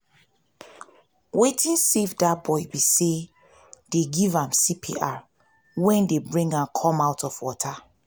wetin save dat boy be say dey give am cpr wen dey bring am come out for water